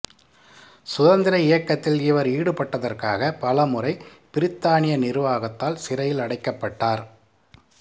சுதந்திர இயக்கத்தில் இவர் ஈடுபட்டதற்காக பல முறை பிரித்தானிய நிர்வாகத்தால் சிறையில் அடைக்கப்பட்டார்